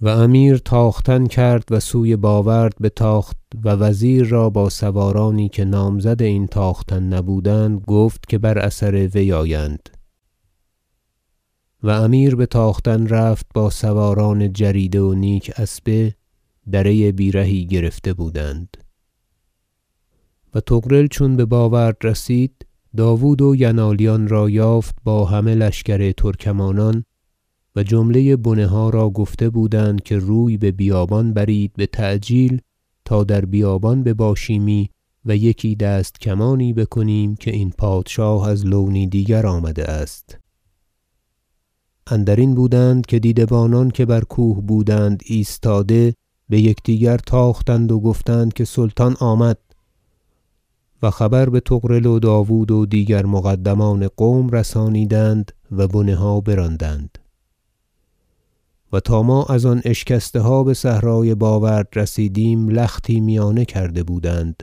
و امیر تاختن کرد و سوی باورد بتاخت و وزیر را با سوارانی که نامزد این تاختن نبودند گفت که بر اثر وی آیند و امیر بتاختن رفت با سواران جریده و نیک اسبه دره بیرهی گرفته بودند و طغرل چون بباورد رسید داود و ینالیان را یافت با همه لشکر ترکمانان و جمله بنه ها را گفته بودند که روی به بیابان برید بتعجیل تا در بیابان بباشیمی و یکی دست کمانی بکنیم که این پادشاه از لونی دیگر آمده است اندرین بودند که دیده بانان که بر کوه بودند ایستاده بیکدیگر تاختند و گفتند که سلطان آمد و خبر بطغرل و داود و دیگر مقدمان قوم رسانیدند و بنه ها براندند و تا ما از آن اشکسته ها بصحرای باورد رسیدیم لختی میانه کرده بودند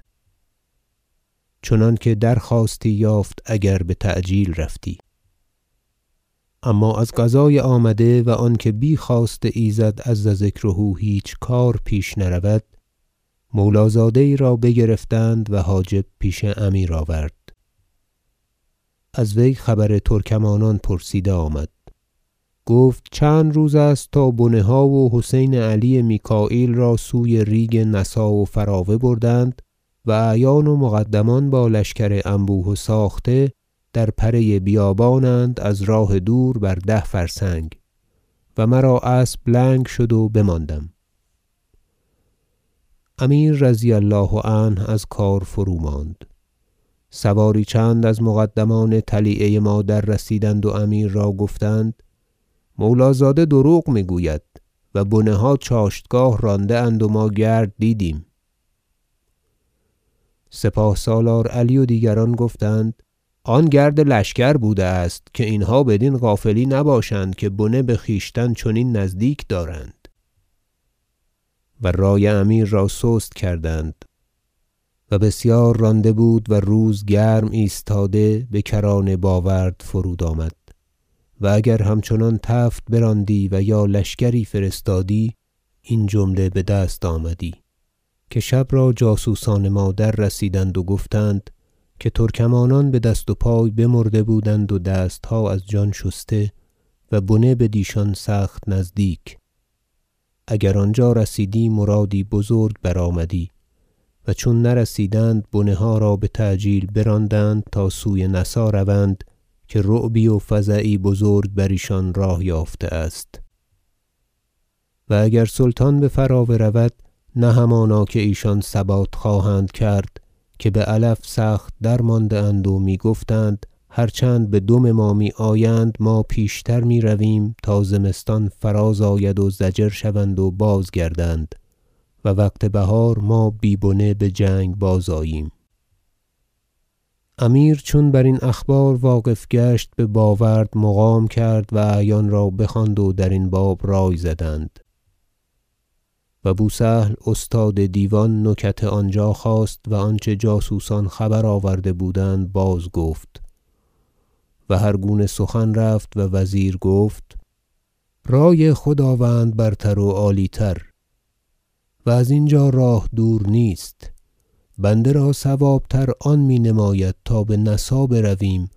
چنانکه درخواستی یافت اگر بتعجیل رفتی اما از قضای آمده و آن که بی خواست ایزد عز ذکره هیچ کار پیش نرود مولا زاده یی را بگرفتند و حاجب پیش امیر آورد از وی خبر ترکمانان پرسیده آمد گفت چند روز است تا بنه ها و حسین علی میکاییل را سوی ریگ نسا و فراوه بردند و اعیان و مقدمان با لشکر انبوه و ساخته در پره بیابان اند از راه دور بر ده فرسنگ و مرا اسب لنگ شد و بماندم امیر رضی الله عنه از کار فروماند سواری چند از مقدمان طلیعه ما دررسیدند و امیر را گفتند مولی- زاده دروغ میگوید و بنه ها چاشتگاه رانده اند و ما گرد دیدیم سپاه سالار علی و دیگران گفتند آن گرد لشکر بوده است که اینها بدین غافلی نباشند که بنه بخویشتن چنین نزدیک دارند و رای امیر را سست کردند و بسیار رانده بود و روز گرم ایستاده بکران باورد فرود آمد و اگر همچنان تفت براندی و یا لشکری فرستادی این جمله بدست آمدی که شب را جاسوسان ما دررسیدند و گفتند که ترکمانان بدست و پای بمرده بودند و دستها از جان شسته و بنه بدیشان سخت نزدیک اگر آنجا رسیدی مرادی بزرگ برآمدی و چون نرسیدند بنه ها را بتعجیل براندند تا سوی نسا روند که رعبی و فزعی بزرگ بر ایشان راه یافته است و اگر سلطان بفراوه رود نه همانا ایشان ثبات خواهند کرد که بعلف سخت درمانده اند و میگفتند هر چند بدم ما میآیند ما پیش تر میرویم تا زمستان فراز آید و ضجر شوند و بازگردند و وقت بهار ما بی بنه بجنگ بازآییم حرکت امیر از باورد به نسا امیر چون برین اخبار واقف گشت به باورد مقام کرد و اعیان را بخواند و درین باب رای زدند و بو سهل استاد دیوان نکت آنجا خواست و آنچه جاسوسان خبر آورده بودند بازگفت و هرگونه سخن رفت وزیر گفت رای خداوند برتر و عالی تر و از اینجا راه دور نیست بنده را صواب تر آن مینماید تا به نسا برویم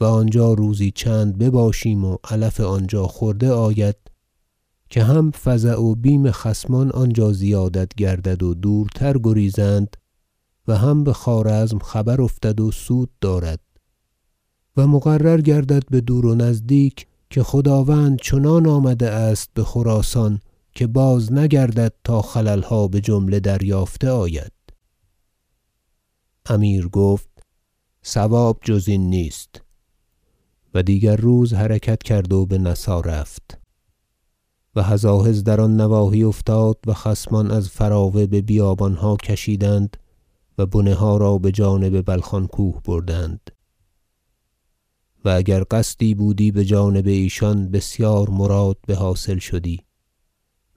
و آنجا روزی چند بباشیم و علف آنجا خورده آید که هم فزع و بیم خصمان آنجا زیادت گردد و دورتر گریزند و هم بخوارزم خبر افتد و سود دارد و مقرر گردد بدور و نزدیک که خداوند چنان آمده است بخراسان که بازنگردد تا خللها بجمله دریافته آید امیر گفت صواب جز این نیست و دیگر روز حرکت کرد و به نسا رفت و هزاهز در آن نواحی افتاد و خصمان از فراوه به بیابانها کشیدند و بنه ها را بجانب بلخان کوه بردند و اگر قصدی بودی بجانب ایشان بسیار مراد بحاصل شدی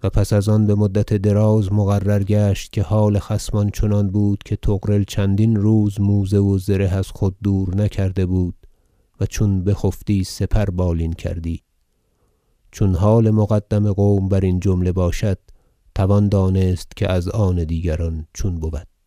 و پس از آن بمدت دراز مقرر گشت که حال خصمان چنان بود که طغرل چندین روز موزه و زره از خود دور نکرده بود و چون بخفتی سپر بالین کردی چون حال مقدم قوم برین جمله باشد توان دانست که از آن دیگران چون بود